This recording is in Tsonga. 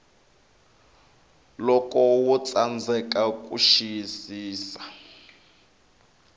loko wo tsandzeka ku xiyisisa